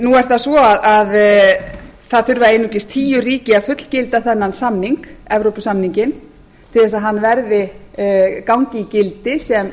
nú er það svo að einungis tíu ríki þurfa að fullgilda þennan samning evrópusamninginn til að hann gangi í gildi sem